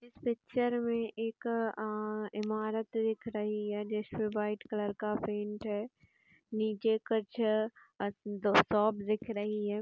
इस पिक्चर में एक आ- ईमारत दिख रही है जिसमें वाइट कलर का पेंट है। नीचे कुछ दो शॉप दिख रही है।